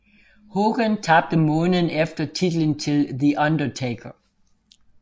Hogan tabte måneden efter titlen til The Undertaker